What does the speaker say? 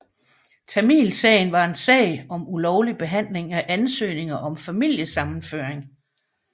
Tamilsagen var en sag om ulovlig behanding af ansøgninger om familiesammenføring